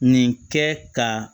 Nin kɛ ka